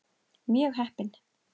Mjög heppin.